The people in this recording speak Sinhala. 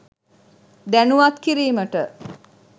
දැනුවත් කිරීමට